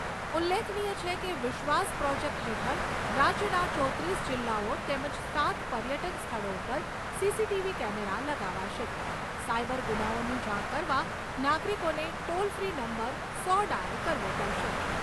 ઉલ્લેખનીય છે કે વિશ્વાસ પ્રોજેક્ટ હેઠળ રાજ્યના ચોત્રીસ જિલ્લાઓ તેમજ સાત પર્યટન સ્થળો ઉપર સીસીટીવી કેમેરા લગાવાશે. સાઇબર ગુનાઓની જાણ કરવા નાગરિકોને ટ્રોલ ફ્રી નંબર સો ડાયલ કરવો પડશે.